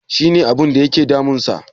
She ne abinda yake damunsa?